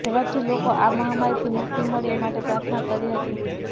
ઝડપથી લોકો આ મહામારીથી મુક્તિ મળે એ માટે પ્રાર્થના કરી હતી